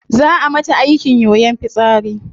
Zaa a mata aikin yoyon fitsari